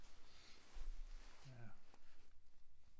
Ja